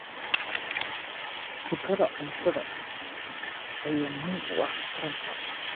Khibrada cuntada ayaa muhiim u ah taranta.